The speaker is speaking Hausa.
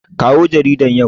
Kawo jaridar yau.